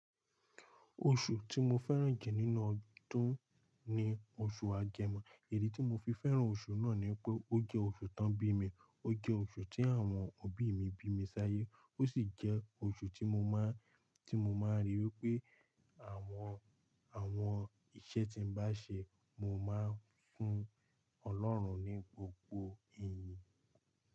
Oṣù tí mo fẹ́ràn jù nínú ọdún ni oṣù Agẹmọ. Idi tí mo fi fẹ́ràn oṣù náà ni pé ó jẹ́ oṣù tán bí mi, ó jẹ́ oṣù tí àwọn òbí mi bí mi sáyé ó sì jẹ́ oṣù tí mo máa, tí mo máa ríi wí pé àwọn, àwọn iṣẹ́ tí n bá ṣe mo máa ń fún Ọlọ́run ní gbogbo ìyìn.